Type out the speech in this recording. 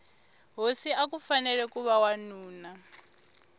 hosi akufanele kuva wanuna